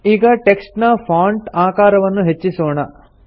ಈಗ ಟೆಕ್ಸ್ಟ್ ನ ಫಾಂಟ್ ಆಕಾರವನ್ನು ಹೆಚ್ಚಿಸೋಣ